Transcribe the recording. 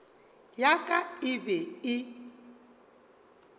ya ka e be e